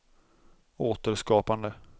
återskapande